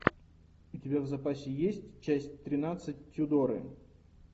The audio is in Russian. у тебя в запасе есть часть тринадцать тюдоры